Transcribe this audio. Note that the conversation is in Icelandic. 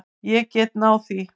Ég get náð því.